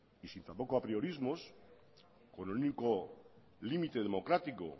y sin tampoco apriorismos con el único límite democrático